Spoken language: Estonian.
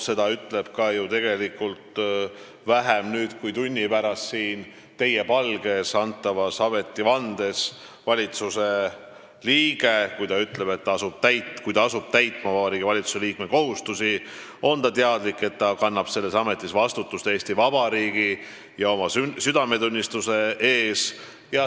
Seda ütleb ka ju tegelikult nüüd juba vähem kui tunni pärast siin teie palge ees antavas ametivandes valitsuse liige, kui ta ütleb, et kui ta asub täitma Vabariigi Valitsuse liikme kohustusi, on ta teadlik, et ta kannab selles ametis vastutust Eesti Vabariigi ja oma südametunnistuse ees.